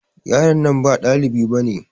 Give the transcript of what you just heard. Yaron nan ba dalibi bane.